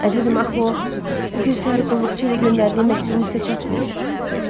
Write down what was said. Əzizim, axı o bu gün səhər qulluqçu ilə göndərdiyim məktubum sizə çatmayıb?